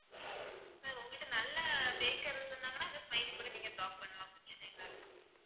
sir உங்ககிட்ட நல்ல baker இருந்தாங்கன்னா இந்த smiley கூட நீங்க draw பண்ணலாம் பிரச்சனை இல்ல.